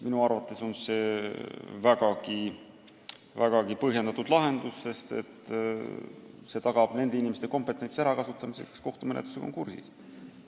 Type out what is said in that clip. Minu arvates on see vägagi põhjendatud lahendus, sest see tagab nende inimeste kompetentsi ärakasutamise, kes kohtumenetlusega kursis on.